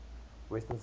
western sectors west